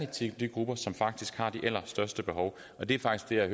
til de grupper som faktisk har de allerstørste behov og det er faktisk det jeg